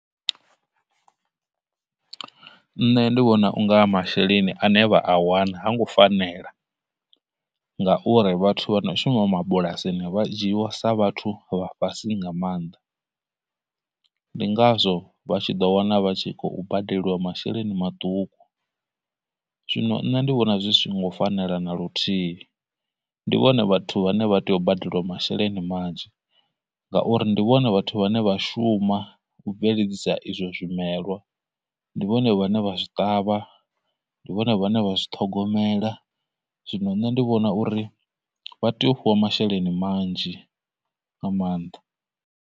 Nṋe ndi vhona unga masheleni ane vha a wana ha ngo fanela, ngauri vhathu vha no shuma mabulasini vha dzhiiwa sa vhathu vha fhasi nga maanḓa, ndi ngazwo vha tshi ḓo wana vha tshi khou badeliwa masheleni maṱuku. Zwino nṋe ndi vhona zwi songo fanela na luthihi, ndi vhone vhathu vhane vha tea u badeliwa masheleni manzhi, ngauri ndi vhone vhathu vhane vha shuma u bveledzisa izwo zwimelwa, ndi vhone vhane vha zwi ṱavha, ndi vhone vhane vha zwi ṱhogomela, zwino nṋe ndi vhona uri vha tea u fhiwa masheleni manzhi nga maanḓa.